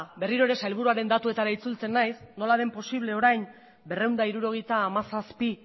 berriro ere sailburuaren datuetara itzultzen naiz nola den posible orain berrehun eta hirurogeita hamazazpi